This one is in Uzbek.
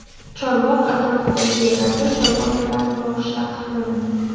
"Chorvoq" atrofidagi yerlarda chorva mollarini boqish taqiqlanadi.